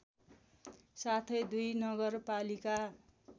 साथै दुई नगरपालिका